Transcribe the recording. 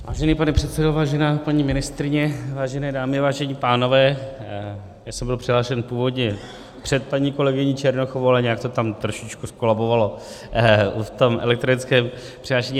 Vážený pane předsedo, vážená paní ministryně, vážené dámy, vážení pánové, já jsem byl přihlášen původně před paní kolegyní Černochovou, ale nějak to tak trošičku zkolabovalo v tom elektronickém přihlášení.